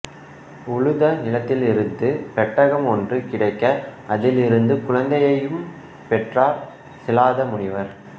உழுத நிலத்திலிருந்து பெட்டகம் ஒன்று கிடைக்க அதிலிருந்து குழந்தையையும் பெற்றார் சிலாத முனிவர்